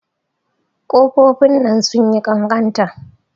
Ƙofofin nan sun yi ƙanƙanta.